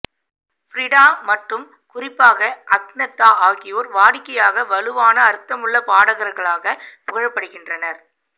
Frida மற்றும் குறிப்பாக Agnetha ஆகியோர் வாடிக்கையாக வலுவான அர்த்தமுள்ள பாடகர்களாக புகழப்படுகின்றனர்